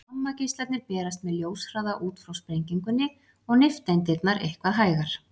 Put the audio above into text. Gamma-geislarnir berast með ljóshraða út frá sprengingunni, og nifteindirnar eitthvað hægar.